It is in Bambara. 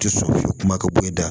Tɛ sɔn kuma ka bɔ i da